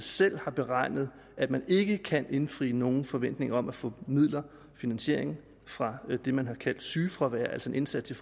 selv har beregnet at man ikke kan indfri nogen forventning om at få midler finansiering fra det man har kaldt sygefravær altså en indsats i